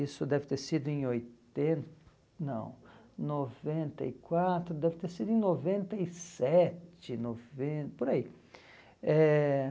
Isso deve ter sido em oiten, não, noventa e quatro, deve ter sido em noventa e sete, noven, por aí. Eh